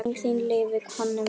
Minning þín lifir, Konni minn.